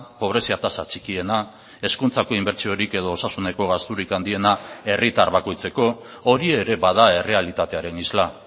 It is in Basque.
pobrezia tasa txikiena hezkuntzako inbertsiorik edo osasuneko gasturik handiena herritar bakoitzeko hori ere bada errealitatearen isla